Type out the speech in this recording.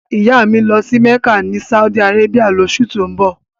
Ìyá mi ń lọ sí Mẹ́kà ni Saudi Arabia lóṣù tó ń bọ̀